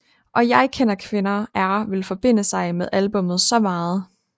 Og jeg kender kvinder er vil forbinde sig med albummet så meget